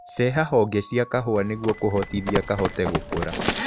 Ceha honge cia kahũa niguo kũhotithia kahote gũkũra.